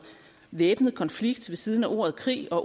væbnet konflikt ved siden af ordet krig og